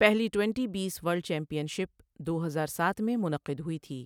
پہلی ٹوئنٹی بیس world championship دو ہرار ساتھ میں منعقد ہوئی تھی۔